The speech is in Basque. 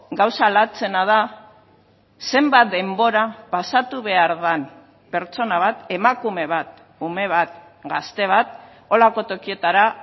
gauza latzena da zenbat denbora pasatu behar den pertsona bat emakume bat ume bat gazte bat horrelako tokietara